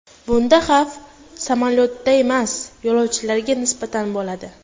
Bunda xavf samolyotga emas, yo‘lovchilarga nisbatan bo‘ladi.